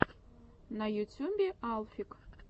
на ютюбе алфик